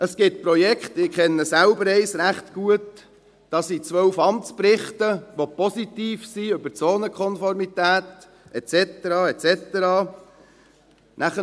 Es gibt Projekte – eines kenne ich selbst recht gut –, bei denen es 12 Amtsberichte gibt, welche bezüglich Zonenkonformität et cetera, et cetera positiv sind.